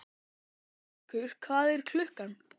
Kjallakur, hvað er klukkan?